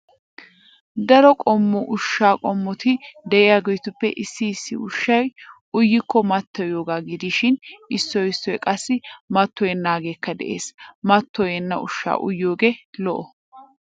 Daro qommo ushshaa qommoti de'iyageetuppe issi issi uahshay uyikko mattoyiyagaa gidishin issoy issoy qassi mattoyennaageekka de'ees. Mattoyenna ushshaa uyiyogee lo'o.